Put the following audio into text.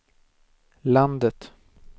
landet